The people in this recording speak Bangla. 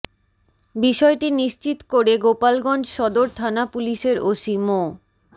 বিষয়টি নিশ্চিত করে গোপালগঞ্জ সদর থানা পুলিশের ওসি মো